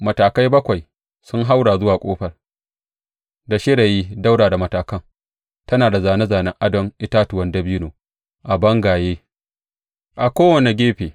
Matakai bakwai sun haura zuwa ƙofar, da shirayi ɗaura da matakan; tana da zāne zānen adon itatuwan dabino a bangayen a kowane gefe.